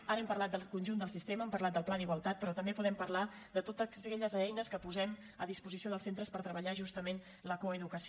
ara hem parlat del conjunt del sistema hem parlat del pla d’igualtat però també podem parlar de totes aquelles eines que posem a disposició dels centres per treballar justament la coeducació